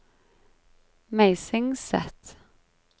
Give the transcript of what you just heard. Meisingset